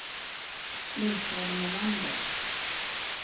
Michael Melander